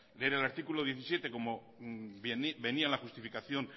leer el artículo diecisiete como venía la justificación